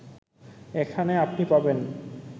এখানে আপনি পাবেন